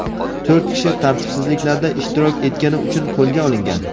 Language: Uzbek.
to‘rt kishi tartibsizliklarda ishtirok etgani uchun qo‘lga olingan.